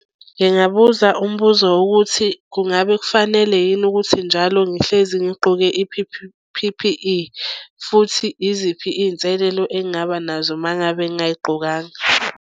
Ngingabuza umbuzo wokuthi kungabe kufanele yini ukuthi njalo ngihlezi ngigqoke P_P_E futhi iziphi iy'nselelo engingaba nazo uma ngabe ngingayigqokanga.